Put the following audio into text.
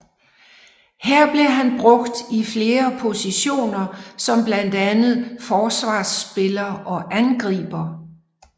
Her blev han brugt i flere positioner som blandt andet Forsvarsspiller og Angriber